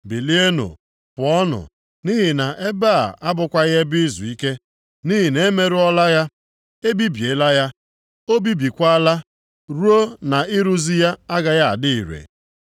Bilienụ, pụọnụ, nʼihi na ebe a abụkwaghị ebe izuike, nʼihi na-emerụọla ya, e bibiela ya, o bibikwaala, ruo na-ịrụzi ya agaghị adị ire.